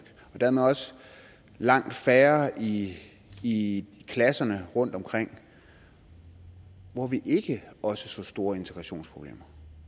og dermed også langt færre i i klasserne rundtomkring hvor vi ikke også så store integrationsproblemer